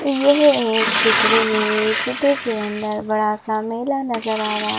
यह एक चित्र है चित्र के अंदर बड़ा सा मेला नजर आ रहा ।